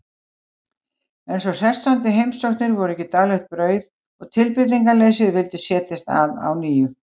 En svo hressandi heimsóknir voru ekki daglegt brauð og tilbreytingarleysið vildi setjast að á ný.